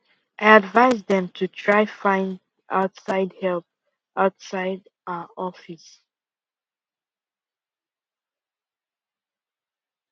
i advice dem to try find outside help outside our office